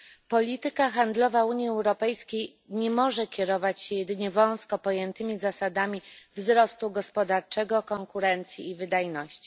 Polityka handlowa Unii Europejskiej nie może kierować się jedynie wąsko pojętymi zasadami wzrostu gospodarczego, konkurencji i wydajności.